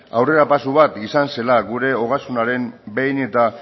aurrera pausu bat izan zela gure ogasunaren behin eta